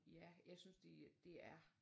Ja jeg synes de det er